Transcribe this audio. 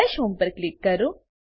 દશ હોમ પર ક્લિક કરો